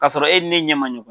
Ka sɔrɔ e ni ne ɲɛ ma ɲɔgɔn.